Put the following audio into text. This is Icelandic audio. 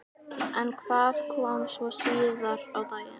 En hvað kom svo síðar á daginn?